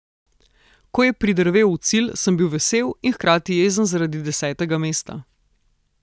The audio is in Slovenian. Ko je pridrvel v cilj, sem bil vesel in hkrati jezen zaradi desetega mesta.